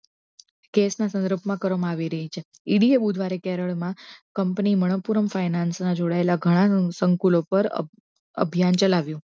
case ની સઘં રચના કરવામા આવી રહી છે કંપની મણકપૂરમ finance ના ઘણા જોડાયેલા સકૂંલો પર અભિયાન ચલાવ્યુ